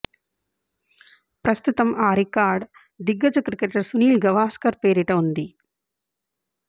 ప్రస్తుతం ఆ రికార్డు దిగ్గజ క్రికెటర్ సునీల్ గవాస్కర్ పేరిట ఉంది